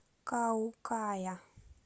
каукая